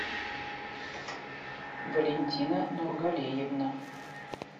валентина нургалиевна